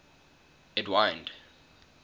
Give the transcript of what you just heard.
edwind